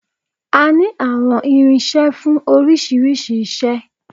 A ní àwọn irinṣẹ́ fún oríṣiríṣi iṣẹ́